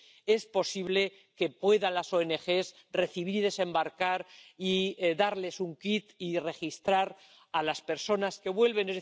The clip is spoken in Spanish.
hace posible que las ONG puedan recibir, desembarcar y darles un kit y registrar a las personas que vuelven.